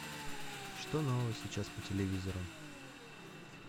что нового сейчас по телевизору